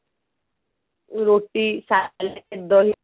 ରୁଟି ସାଲାଡ ଦହି